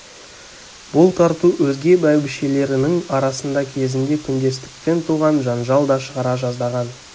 бұл тарту өзге бәйбішелерінің арасында кезінде күндестіктен туған жанжал да шығара жаздаған